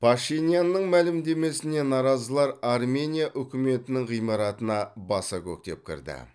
пашинянның мәлімдемесіне наразылар армения үкіметінің ғимаратына баса көктеп кірді